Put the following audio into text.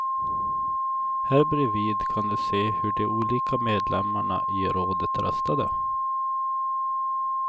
Här bredvid kan du se hur de olika medlemmarna i rådet röstade.